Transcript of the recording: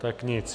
Tak nic.